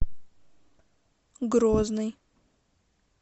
грозный